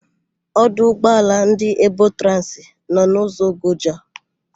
Ọdụ ụgbọala ndị Ebotransị nọ n'ụzọ Ogoja.